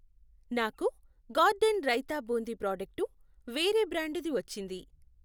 నాకు garden raita boondi product వేరే బ్రాండుది వచ్చింది.